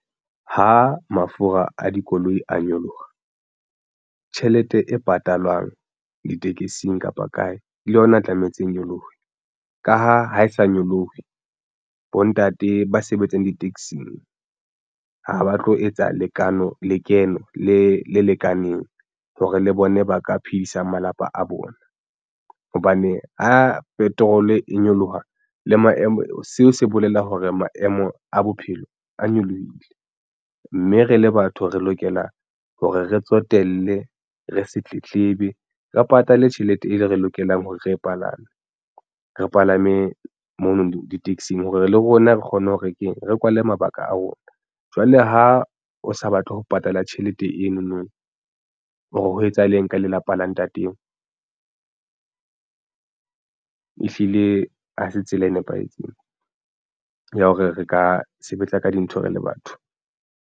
Ha mafura a dikoloi a nyoloha tjhelete e patalwang ditekesing kapa kae le yona tlametse e nyolohe ka ha ha e sa nyolohe. Bontate ba sebetsang di-axing ha ba tlo etsa lekeno le lekaneng hore le bone ba ka phedisang malapa a bona hobane a petrol e nyoloha le maemo seo se bolela hore maemo a bophelo a nyolohile mme re le batho re lokela hore re tsotelle re se tletlebe re patale tjhelete e re lokelang hore re palame re palame mono di-taxi-ng hore le rona re kgone ho re ke re kwale mabaka a rona jwale ha o sa batle ho patala tjhelete eno no o re ho etsahala eng ka lelapa la ntate eo? Ehlile ha se tsela e nepahetseng ya hore re ka sebetsa ka dintho re le batho.